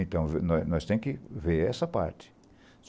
Então, nós nós tem que ver essa parte.